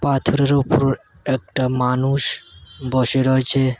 পাথরের উপর একটা মানুষ বসে রয়েছে।